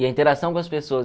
E a interação com as pessoas.